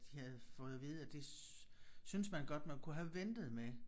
De havde fået at vide at det syntes man godt man kunne have ventet med